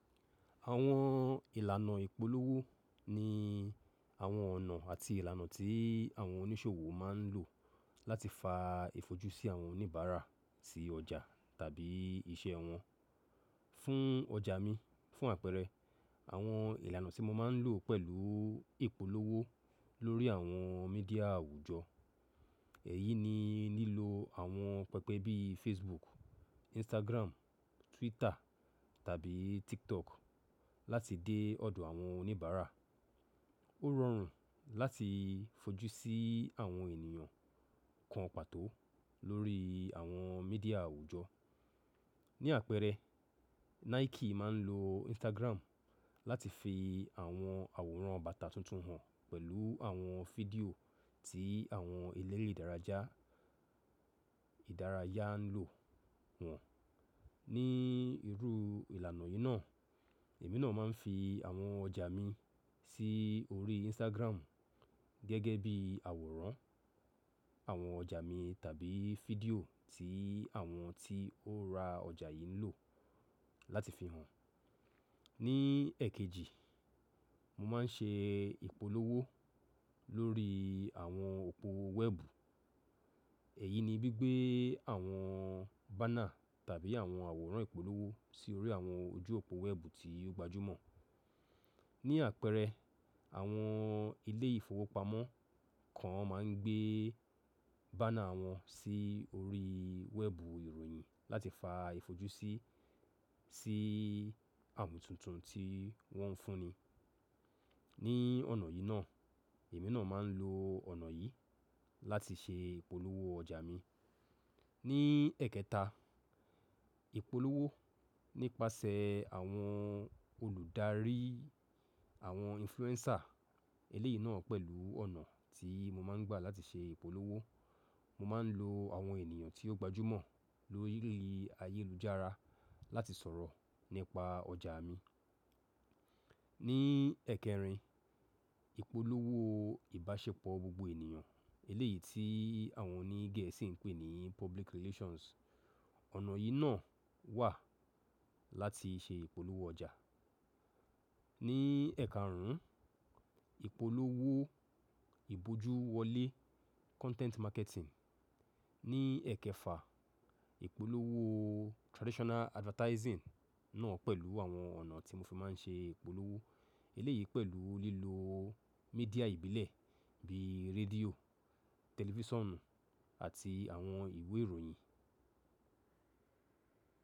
Àwọn ìlànà ìpolówó ni àwọn ọ̀nà àti ìlànà tí àwọn oníṣòwò máa ń lò láti fa ìfojúsí àwọn oníbàárà sí ọjà tàbí iṣẹ́ wọn. Fún ọjà mi, fún àpẹẹrẹ, àwọn ìlànà tí mo máa ń lò pẹ̀lú ìpolówó lórí àwọn media àwùjọ. Èyí ni lílo àwọn pẹpẹ bíi Facebook, Instagram, Twitter tàbí TikTok láti dé ọ̀dọ̀ àwọn oníbàárà. Ó rọrùn láti fojú sí àwọn ènìyàn kan pàtó lórí àwọn media àwùjọ. Ni àpẹẹrẹ, Nike máa ń lo Instagram láti fi àwọn àwòrán bàtà tuntun hàn pẹ̀lú àwọn fídíò tí àwọn eléré ìdárayá ń lò wọ́n. Ni irú ìlànà yìí náà, èmi náà máa ń fi àwọn ọjà mi sí orí Instagram gẹ́gẹ́ bí àwòrán àwọn ọjà mi tàbí fídíò tí àwọn tí ó ra ọjà yìí ń lò láti fi hàn. Ni ẹ̀kẹjì, mo máa ń ṣe ìpolówó lórí àwọn òpó wẹ́ẹ̀bù. Èyí ni gbí gbé àwọn banner tàbí àwọn àwòrán ìpolówó sí orí àwọn ojú òpó wẹ́ẹ̀bù tí ó gbajúmọ̀. Ni àpẹẹrẹ, àwọn ilé ìfowópamọ́ kan máa ń gbé banner wọn sí orí wẹ́ẹ̀bù ìròyìn láti fa ìfojúsí sí àmù tuntun tí wọ́n ń fúnni. Ni ọ̀nà yìí náà, èmi náà máa ń lo ọ̀nà yìí láti ṣe ìpolówó ọjà mi. Ni ẹ̀kẹta, ìpolówó nípasẹ̀ àwọn olùdarí, àwọn influencer. Eléyìí náà pẹ̀lú ọ̀nà tí mo máa ń gbà láti ṣe ìpolówó. Mo máa ń lo àwọn ènìyàn tí ó gbajúmọ̀ lórí ayélujára láti sọ̀rọ̀ nípa ọjà mi. Ni ẹ̀kẹrin, ìpolówó ìbáṣepọ̀ gbogbo ènìyàn. Eléyìí tí àwọn òní Gẹ̀ẹ́sì ń pè ní public relations. Ọ̀nà yìí náà wà láti ṣe ìpolówó ọjà. Ni ẹ̀karùn ún, ìpolówó ìbójú wọlé, content marketing. Ni ẹ̀kẹfà, ìpolówó traditional advertising náà pẹ̀lú àwọn ọ̀nà tí mo fi máa ń ṣe ìpolówó. Eléyìí pẹ̀lú lílo media ìbílẹ̀ bíi rédíò, tẹlifíṣànù àti àwọn ìwé ìròyìn.